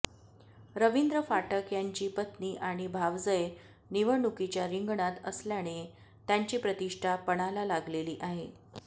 रवींद्र फाटक यांची पत्नी आणि भावजय निवडणुकीच्या रिंगणात असल्याने त्यांची प्रतिष्ठा पणाला लागलेली आहे